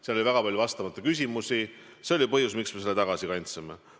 Seal oli väga palju vastamata küsimusi ja see oligi põhjus, miks me selle tagasi kandsime.